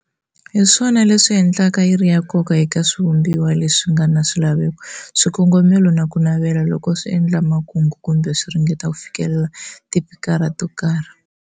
Hiswona leswi endlaka yiri ya nkoka eka swivumbiwa leswi ngana swilaveko, swikongomelo na kunavela, loko swi endla makungu, kumbe swi ringeta ku fikelela tipakani to karhi.